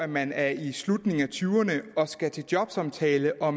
man er i slutningen af tyverne og skal til jobsamtale og